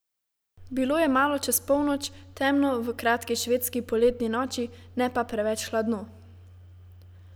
Bilo je malo čez polnoč, temno v kratki švedski poletni noči, ne pa preveč hladno.